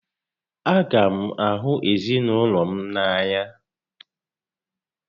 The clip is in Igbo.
A gá m ahụ ezinaụlọ m n'anya